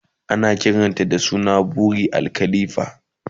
Ana kiranta da suna "Burj Al khalifa"